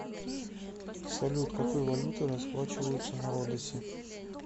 салют какой валютой расплачиваются на родосе